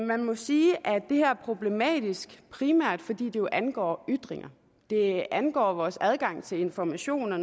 man må sige at det her er problematisk primært fordi det jo angår ytringer det angår vores adgang til information og